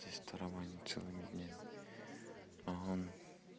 тестирование целыми днями он